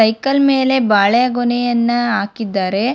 Cycle ಮೇಲೆ ಬಾಳೆ ಗೊನೆಯನ್ನ ಹಾಕಿದ್ದಾರೆ.